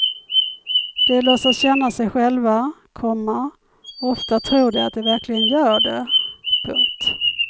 De låtsas känna sig själva, komma ofta tror de att de verkligen gör det. punkt